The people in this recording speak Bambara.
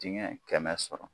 Dingɛ kɛmɛ sɔrɔ.